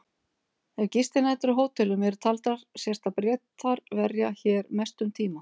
Ef gistinætur á hótelum eru taldar sést að Bretar verja hér mestum tíma.